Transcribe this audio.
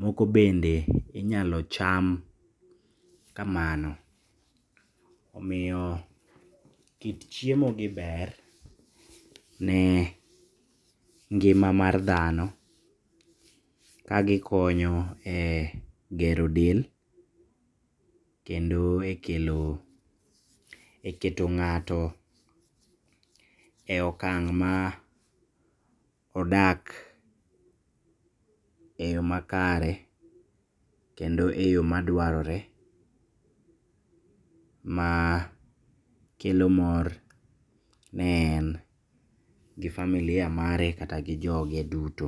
Moko bende inyalo cham kamano. Omiyo kit chiemogi ber ne ngima mar dhano kagikonyo e gero del, kendo e kelo e keto ng'ato e okang' maodak eyo makare, kendo eyo madwarore makelo mor ne en gi familia mare kata gi joge duto.